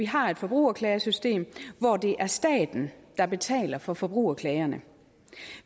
har et forbrugerklagesystem hvor det er staten der betaler for forbrugerklagerne